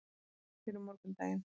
Og pela fyrir morgundaginn.